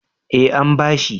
Eh an bashi